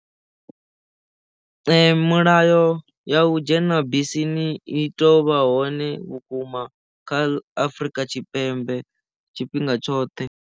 Mulayo ya u dzhena bisini i teo vha hone vhukuma kha Afurika Tshipembe tshifhinga tshoṱhe.